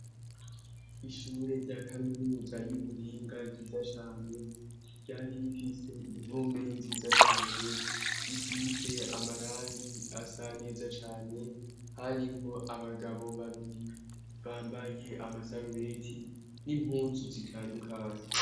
Ishure rya kaminuza y'ubuhinga ryiza cane. Ryari rifise impome nziza cane ; risize amarangi asa neza cane ; harimwo abagabo babiri bambaye amasarubeti n'impuzu zitandukanye.